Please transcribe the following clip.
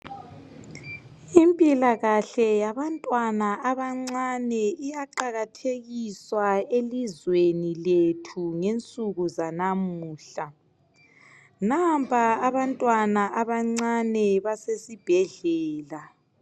Impilakahle yabantwana abancane iyaqakathekiswa elizweni lethu ngensuku zanamuhla nampa abantwana abancane basesibhedlela.